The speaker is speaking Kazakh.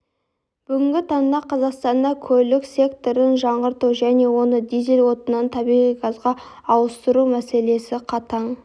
бүгінгі таңда қазақстанда көлік секторын жаңғырту және оны дизель отынынан табиғи газға ауыстыру мәселесі қатаң